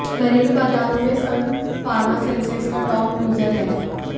घरेलू बाजारों में सन फार्मा सेंसेक्स का टॉप लूजर है